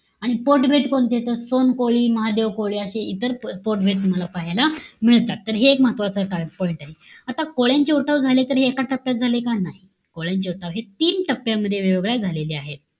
आणि पोटभेद कोणतेय तर, सोनकोळी, महादेव कोळी अशे इतर पोटभेद तुम्हाला पाहायला मिळतात. तर, हे एक महत्वाचं point आहे. आता कोळ्यांच्या उठाव झाले तर एका टप्प्यात झाले का? नाही. कोळ्यांचे उठाव हे तीन टप्प्यामध्ये वेगवेगळ्या झालेले आहे.